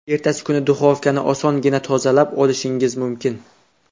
Ertasi kuni duxovkani osongina tozalab olishingiz mumkin.